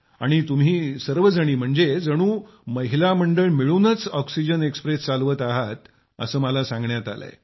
आणि तुम्ही सर्वजणी म्हणजे जणू महिला मंडळ मिळूनच ऑक्सिजन एक्सप्रेस चालवत आहात असं मला सांगण्यात आलंय